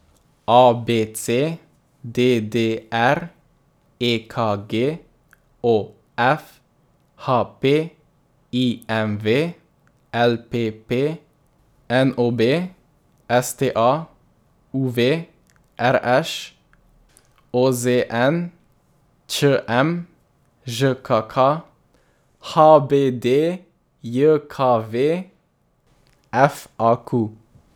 A B C; D D R; E K G; O F; H P; I M V; L P P; N O B; S T A; U V; R Š; O Z N; Č M; Ž K K; H B D J K V; F A Q.